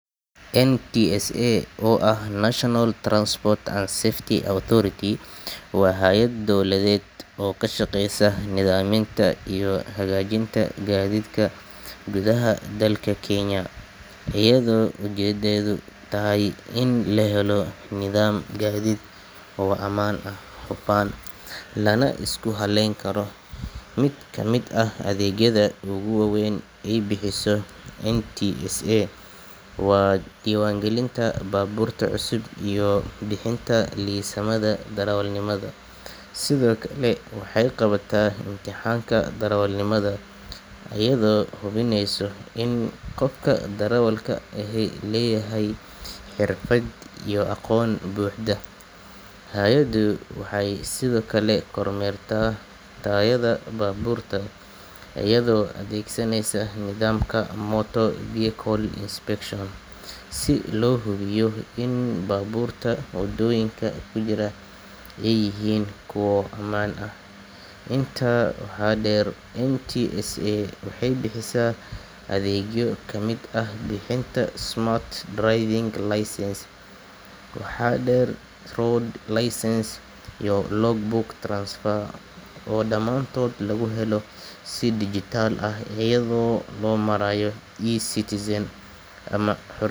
NTSA oo ah National Transport and Safety Authority waa hay’ad dowladeed oo ka shaqeysa nidaaminta iyo hagaajinta gaadiidka gudaha dalka Kenya, iyadoo ujeeddadeedu tahay in la helo nidaam gaadiid oo amaan ah, hufan, lana isku halayn karo. Mid ka mid ah adeegyada ugu waaweyn ee ay bixiso NTSA waa diiwaangelinta baabuurta cusub iyo bixinta liisamada darawalnimada. Sidoo kale waxay qabataa imtixaanka darawalnimada, iyadoo hubinaysa in qofka darawalka ahi leeyahay xirfad iyo aqoon buuxda. Hay’addu waxay sidoo kale kormeertaa tayada baabuurta iyadoo adeegsanaysa nidaamka Motor Vehicle Inspection, si loo hubiyo in baabuurta waddooyinka ku jira ay yihiin kuwo ammaan ah. Intaa waxaa dheer, NTSA waxay bixisaa adeegyo ay ka mid yihiin bixinta smart driving license, road service license, iyo logbook transfer oo dhamaantood lagu helo si dijitaal ah iyada oo loo marayo eCitizen ama xa.